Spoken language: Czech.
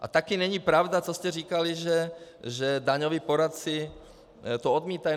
A taky není pravda, co jste říkali, že daňoví poradci to odmítají.